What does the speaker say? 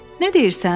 Nə deyirsən?